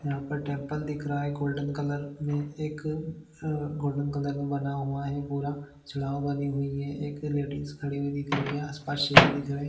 यहाँ पर टेम्पल दिख रहा है गोल्डन कलर मे एक आ गोल्डन कलर मे बना हुआ है पूरा चलवा वाले वी मे एक लेडीज खड़ी हुई दिख रही है आसपास शेर दिख रहै है।